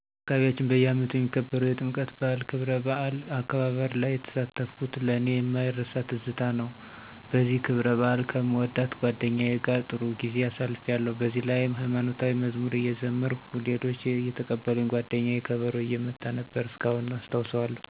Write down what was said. በአካባቢያችን በየአመቱ የሚከበረዉ የጥምቀት በአል ክብረባዓል አከባበርላይ የተሳተፍሁት ለኔ የማይረሳትዝታ ነዉ በዚህ ክብረባአል ከምወዳት ጓደኛየ ጋር ጥሩ ጊዜ አሳልፊያለሁ በዚህላይም ሀይማኖታዊ መዝሙር እየዘመርሁ ሌሎች አየተቀበሉኝ ጓደኘየ ከበሮ እየመታችነበር እስካሁን አስታዉሰዋለሁ።